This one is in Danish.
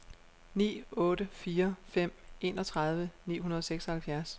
ni otte fire fem enogtredive ni hundrede og seksoghalvfjerds